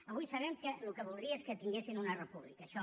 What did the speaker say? avui sabem que el que voldria és que tinguessin una república això